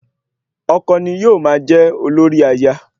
Ọkọ ni yóò máa jẹ́ olórí aya